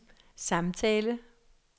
samtale